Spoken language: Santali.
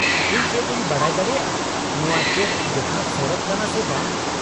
-ᱤᱧ ᱪᱮᱫ ᱤᱧ ᱵᱟᱰᱟᱭ ᱫᱟᱲᱮᱭᱟᱜᱼᱟ ᱱᱚᱶᱟ ᱪᱮᱫ ᱡᱚᱛᱷᱟᱛ ᱥᱚᱲᱚᱠ ᱠᱟᱱᱟ ᱥᱮ ᱵᱟᱝ ?